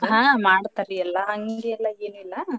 ಹಾ ಮಾಡ್ತಾರಿ ಎಲ್ಲಾ ಹಂಗೆಲ್ಲಾ ಏನಿಲ್ಲಾ.